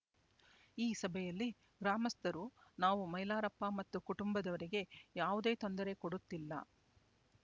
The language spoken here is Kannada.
ಈ ಸಭೆಯಲ್ಲಿ ಗ್ರಾಮಸ್ಥರು ನಾವು ಮೈಲಾರಪ್ಪ ಮತ್ತು ಕುಟುಂಬದವರಿಗೆ ಯಾವುದೇ ತೊಂದರೆ ಕೊಡುತ್ತಿಲ್ಲ